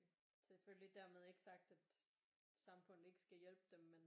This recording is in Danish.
Selvfølgelig dermed ikke sagt at samfundet ikke skal hjælpe dem men